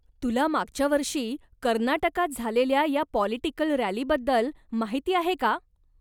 तुला मागच्या वर्षी कर्नाटकात झालेल्या या पॉलिटिकल रॅलीबद्दल माहिती आहे का?